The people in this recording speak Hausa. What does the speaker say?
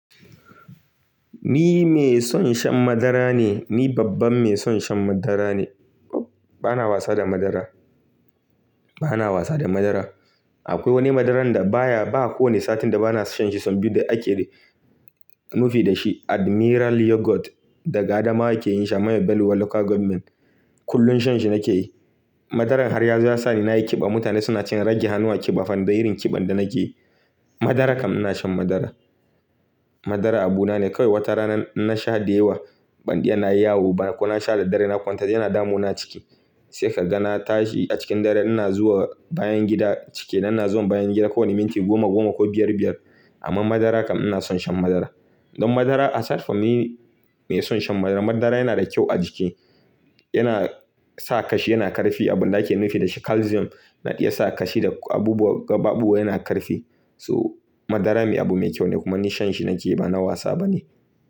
Ni mai son shan madara ne, ni babban mai son shan madara ne. Bana wasa da madara, bana wasa da madara. Akwai wani madaran da baya, ba kowane satin da bana sha shi sun biyu da ake nufi da shi, Admiral Yogurt daga Adamawa ke yin shi a Maybell local government. Kullum shan shi nake yi. Madaran har ya sa ni na yi ƙiba, mutane suna cewa in rage hannu a ƙiba, fan ɗin irin ƙiban da nake yi. Madara kam ina shan madara. Madara abu na ne kawai wata rana na sha da yawa banɗiya na yi yawo ko na sha da dare na kwanta yana damu na ciki. Sai kaga na tashi a cikin dare ina zuwa bayan gida cike ina zuwa bayan gida kowane minti goma goma ko biyar biyar. Amma madara kam ina son shan madara. Don madara a sirfa ni mai son shan madara. Madara yana da kyau a jiki, yana sa kashi, yana ƙarfi. Abin da ake nufi da shi calcium na iya sa kashi da abubuwa, gaɓaɓu yana ƙarfi. So madara abu mai kyau ne kuma ni shan shi nake yi bana wasa bane.